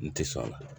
N ti sɔn a la